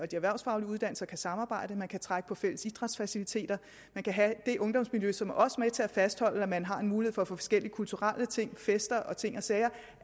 de erhvervsfaglige uddannelser kan samarbejde man kan trække på fælles idrætsfaciliteter man kan have det ungdomsmiljø som også er med til at fastholde at man har mulighed for forskellige kulturelle ting fester og ting og sager